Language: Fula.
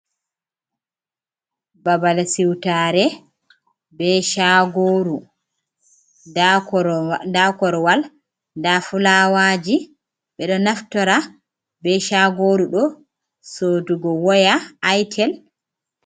Babal siwtaare bee caagooru. Ndaa korowal ndaa fulaawaaji ɓe ɗo naftora bee caagooru ɗo soodugo woya aytel.